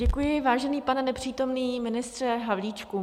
Děkuji, vážený pane nepřítomný ministře Havlíčku.